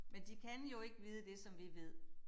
Men de kan jo ikke vide det som vi ved